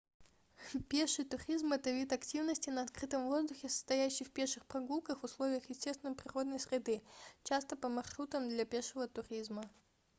пеший туризм это вид активности на открытом воздухе состоящий в пеших прогулках в условиях естественной природной среды часто по маршрутам для пешего туризма